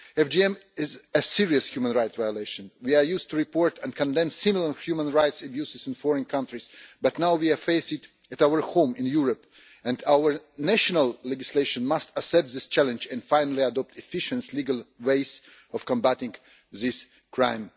FGM is a serious human rights violation. We are used to reporting and condemning similar human rights abuses in foreign countries, but now we are faced with it in our home in Europe, and our national legislation must accept this challenge and finally adopt efficient legal ways of combating this crime.